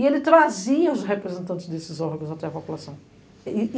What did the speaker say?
E ele trazia os representantes desses órgãos até a população.